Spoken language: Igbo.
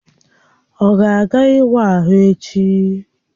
Ọ ga-aga ịwa ahụ echi?